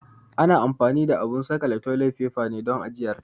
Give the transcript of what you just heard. Ana anfani da abun saƙale toli faifa ne don ajiyar ta.